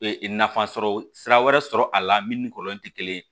nafa sɔrɔ sira wɛrɛ sɔrɔ a la min ni kɔlɔn tɛ kelen ye